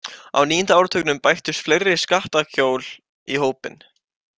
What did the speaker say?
Á níunda áratugnum bættust fleiri skattakjól í hópinn.